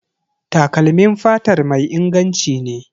Takalmin fatar mai inganci ne.